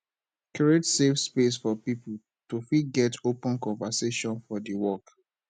create safe space for pipo to fit get open conversation for di work